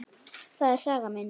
Það er saga mín.